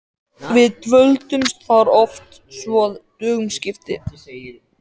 Við dvöldumst þar oft svo að dögum skipti.